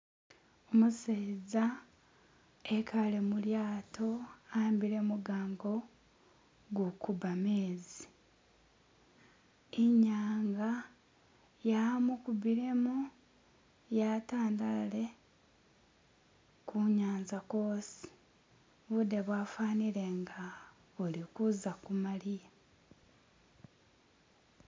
umuseza ekale mulyato ahambile mugango gukuba mezi inyanga yamukubilemo yatandale kunyanza kwosi bude bwafanile nga buzakumaliya